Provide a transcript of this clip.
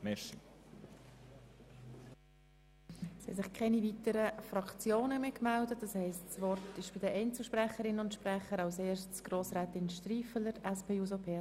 Es haben sich keine weiteren Fraktionen gemeldet, das heisst, das Wort erhalten jetzt die Einzelsprecherinnen und Einzelsprecher.